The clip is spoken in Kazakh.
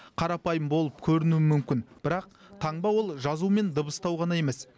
қарапайым болып көрінуі мүмкін бірақ таңба ол жазу мен дыбыстау ғана емес